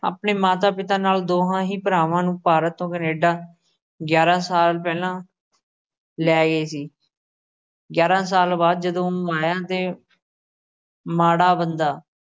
ਆਪਣੇ ਮਾਤਾ-ਪਿਤਾ ਨਾਲ ਦੋਹਾ ਹੀ ਭਰਾਵਾ ਨੂੰ ਭਾਰਤ ਤੋਂ ਕੇਨੈਡਾ ਗਿਆਰਾ ਸਾਲ ਪਹਿਲਾਂ ਲੈਗੇ ਸੀ। ਗਿਆਰਾ ਸਾਲ ਬਾਅਦ ਜਦੋ ਉਹ ਆਇਆ ਤੇ ਮਾੜਾ ਬੰਦਾ